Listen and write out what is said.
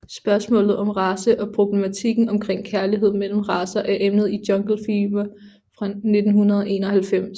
Spørgsmålet om race og problematikken omkring kærlighed mellem racer er emnet i Jungle Fever fra 1991